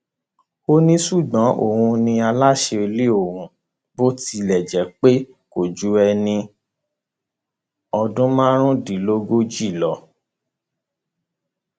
ó ní ṣùgbọn òun ni aláṣẹ ilé ọhún bó tilẹ jẹ pé kò ju ẹni ọdún márùndínlógójì lọ